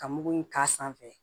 Ka mugu in k'a sanfɛ